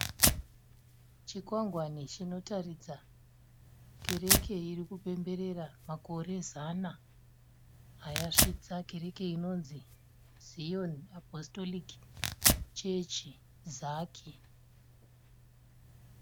Chikwangwani chinotaridza kereke irikupemberera makore zana ayasvitsa , kereke inonzi Zion Apostolic Church (ZAC).